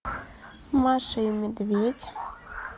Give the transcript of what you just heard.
маша и медведь